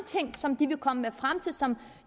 ting som de vil komme frem til som